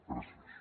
gràcies